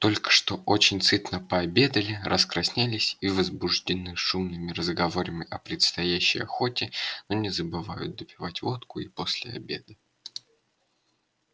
только что очень сытно пообедали раскраснелись и возбуждены шумными разговорами о предстоящей охоте но не забывают допивать водку и после обеда